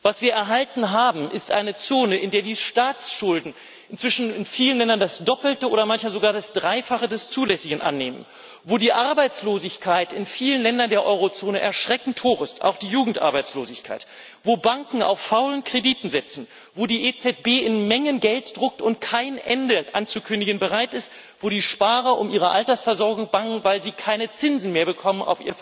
Was wir erhalten haben, ist eine Zone, in der die Staatsschulden inzwischen in vielen Ländern das Doppelte oder manchmal sogar das Dreifache des Zulässigen annehmen, wo die Arbeitslosigkeit in vielen Ländern der Eurozone erschreckend hoch ist auch die Jugendarbeitslosigkeit wo Banken auf faulen Krediten sitzen, wo die EZB in Mengen Geld druckt und kein Ende anzukündigen bereit ist, wo die Sparer um ihre Altersversorgung bangen, weil sie auf ihr Vermögen keine Zinsen mehr bekommen.